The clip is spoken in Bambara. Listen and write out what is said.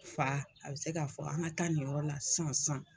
Fa a be se ka fɔ an ka taa nin yɔrɔ la san san.